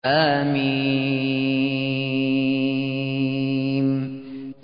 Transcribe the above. حم